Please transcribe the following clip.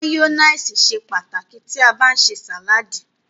Máyónísì ṣe pàtàkì tí a bá ń ṣe sàládì.